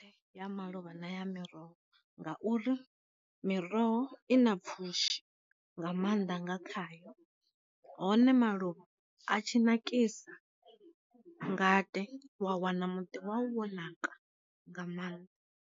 Ya malovha na ya miroho, ngauri miroho i na pfushi nga maanda nga khayo hone maluvha a tshi nakisa ngade wa wana muḓi wawu wo naka nga maanḓa.